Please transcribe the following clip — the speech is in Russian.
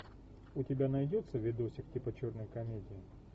у тебя найдется видосик типа черной комедии